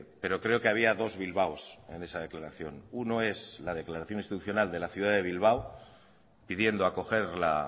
pero creo que había dos bilbaos en esa declaración uno es la declaración institucional de la ciudad de bilbao pidiendo acoger la